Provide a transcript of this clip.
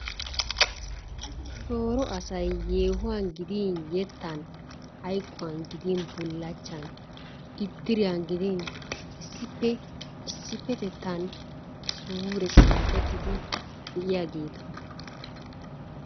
Shoro assay yehuwan giddin yettan, hayquwan giddin bullchaan, idiryan gidin issppetettan sure siqqetidi de'iyageetta.